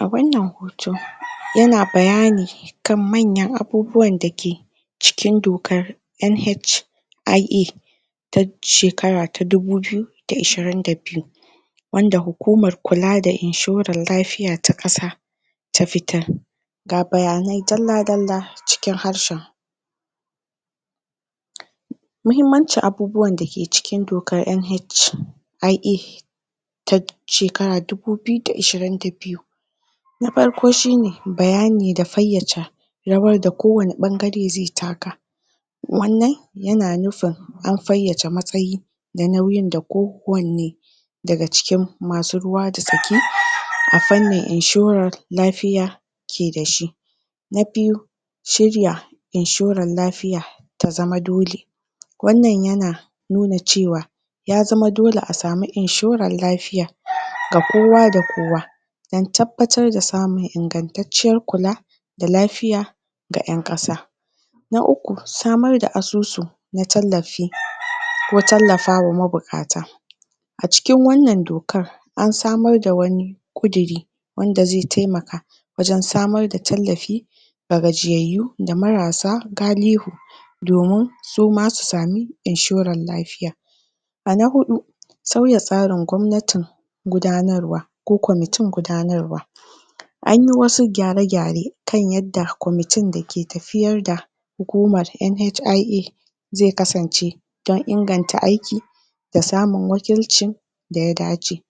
a wannan hoto yana bayani kan manyan abubuwan dake cikin dokar NHIA ta shekara ta dubu biyu da ishirin da biyu wanda hakumar kula da inshurar lafiya ta ƙasa ta fitar ga bayanai dalla dalla cikin harshen mahimmancin abubuwan dake cikin dokar NHIA ta shekara dubu biyu da ishirin da biyu na farko shine bayani da fayyace rawar da kowanne ɓangare zai taka wannan yana nufin an fayyace matsayi da nauyin da ko wanne daga cikin masu ruwa da tsaki a fanni insurar lafiya ke dashi na biyu shirya inshurar lafiya ta zama dole wannan yana nuna cewa ya zama dole a samu inshurar lafiya ga kuwa da kowa dan tabbatar da samun ingantatciyar kula da lafiya ga yan ƙasa na uku samar da asusu na tallafi ko tallafawa mabuƙata a cikin wannan dokar ansamar da wani ƙuduri wanda zai taimaka wajan samar da tallafi da gajiyayyo da marasa galihu domin suma su samu inshurar lafiya a na hudu sauya tsarin gwamnatin gudanarwa ko kwamatin gudanarwa anyi wasu gyare gyare kan yanda kwanatin dake tafiyar da hukumar NHIE zai kasance dan inganta aiki da samun wakilcin daya dace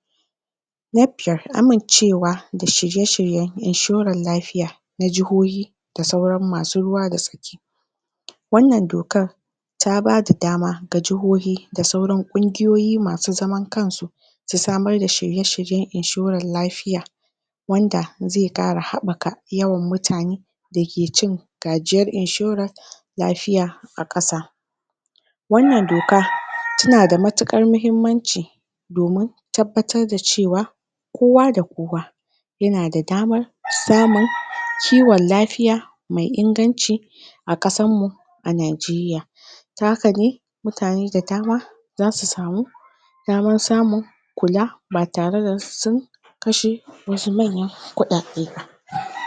na biyar amincewa da shirye shiryen inshurar lafiya na jihohi da sauran masu ruwa da tsaki wannan dokar ta bada dama ga jahohi da sauran kungiyoyi masu zaman kansu su samar da shirye shiryen inshurar lafiya wanda zai ƙara habɓaka yawan mutane dake cin gajiyar inshurar lafiya a ƙasa wannan doka tana da matukar mahimmanci domin tabbatar da cewa kowa da kowa yana da damar samun kiwan lafiya me inganci a ƙasarmu a nigeria ta hakane mutane da dama zasu samu damar samun kula ba tare da sun kashe wasu manya kuɗaɗe ba